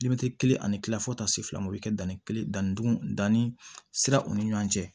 kelen ani kila fo ka taa se fila o bɛ kɛ danni kelen dannidugun danni siraw ni ɲɔgɔn cɛ